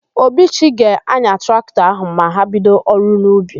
Obichi ga-anya traktọ áhụ̀ ma ha bido ọrụ n'ubi.